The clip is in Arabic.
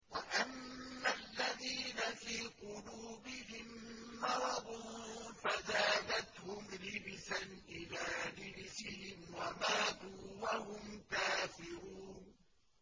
وَأَمَّا الَّذِينَ فِي قُلُوبِهِم مَّرَضٌ فَزَادَتْهُمْ رِجْسًا إِلَىٰ رِجْسِهِمْ وَمَاتُوا وَهُمْ كَافِرُونَ